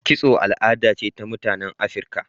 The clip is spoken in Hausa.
Kitso al'ada ce ta mutanen Afrika.